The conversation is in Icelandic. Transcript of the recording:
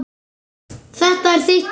Þetta er þitt dæmi.